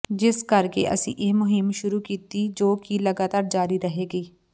ਜਿਸ ਕਰਕੇ ਅਸੀਂ ਇਹ ਮੁਹਿੰਮ ਸ਼ੁਰੂ ਕੀਤੀ ਜੋ ਕਿ ਲਗਾਤਾਰ ਜਾਰੀ ਰਹੇਗੀ